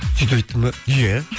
сөйтіп айттым ба иә